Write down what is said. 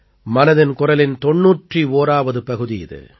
மனதின் குரலின் 91ஆவது பகுதி இது